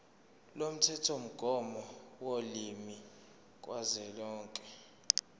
lomthethomgomo wolimi kazwelonke